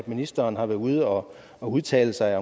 ministeren har været ude og udtale sig